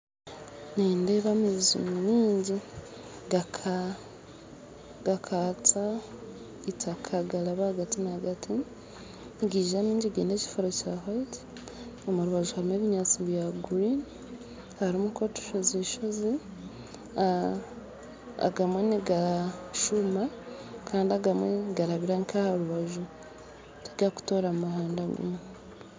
Nindeeba amaizi maingi ngakatsya itaaka garaba rwagati nagati nigiza mingi gaine ekifuro kya white omurubaju harimu ebinyaatsi bya green harimu nk'otushoozi shoozi aah agamwe nigashuma kandi agamwe nigarabira nka arubaju tigakutora muhanda gumwe